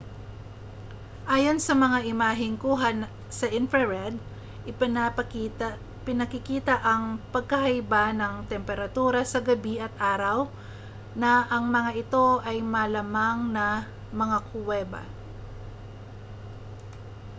ayon sa mga imaheng kuha sa infrared ipinakikita ng pagkakaiba ng temperatura sa gabi at araw na ang mga ito ay malamang na mga kuweba